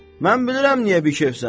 Mən bilirəm niyə bikefsən.